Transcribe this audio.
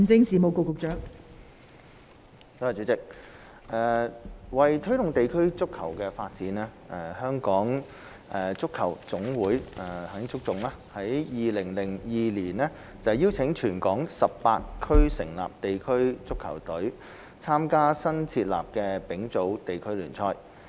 代理主席，為推動地區足球發展，香港足球總會於2002年邀請全港18區成立地區足球隊參加新設立的丙組地區聯賽。